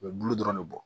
U bɛ bulu dɔrɔn de bɔ